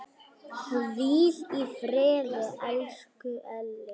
Hvíl í friði, elsku Elli.